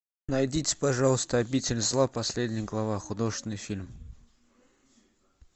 найдите пожалуйста обитель зла последняя глава художественный фильм